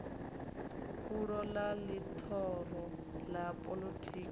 fulo ḽa ḽihoro ḽa poḽotiki